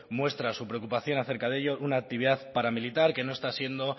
muestra su preocupación acerca de ello una actividad paramilitar que no está siendo